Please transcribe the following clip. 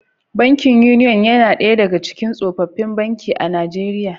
Bankin Union yana daya daga cikin tsofaffin banki a Najeriya